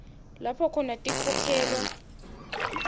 lapho khona tinkhokhelo